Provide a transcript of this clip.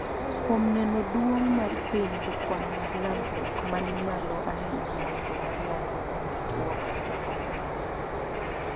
kuom neno duong' mar piny gi kwan mag landruok mani malo ahinya moingo mar landruok mar tuo mar ebola